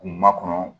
Ma kɔnɔ